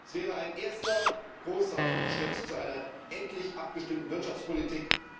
Es wäre ein erster großer Schritt zu einer endlich abgestimmten Wirtschaftspolitik.